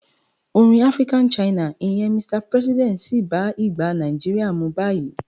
Orin African China, ìyẹn "Mr President" sì bá ìgbà Nigeria mu báyìí.